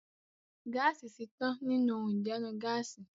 Gáàsì ti tán nínú ohun ìdáná Gáàsì